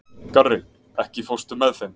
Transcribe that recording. Garri, ekki fórstu með þeim?